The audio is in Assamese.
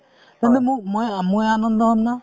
মই আনন্দ হম না